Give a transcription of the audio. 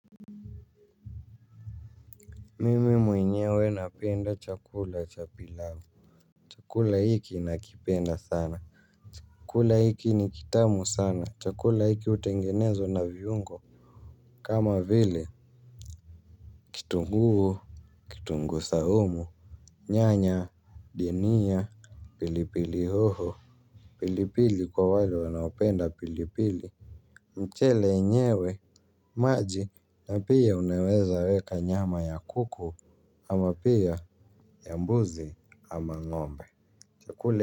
Mimi mwenyewe napenda chakula cha pilau. Chakula hiki nakipenda sana. Chakula hiki ni kitamu sana. Chakula hiki utengenezwa na viungo. Kama vile kitunguu kitunguu saumu nyanya denia pilipili hoho. Pilipili kwa wale wanaopenda pilipili. Mchele enyewe maji na pia unaweza weka nyama ya kuku ama pia ya mbuzi ama ngombe. Chakule.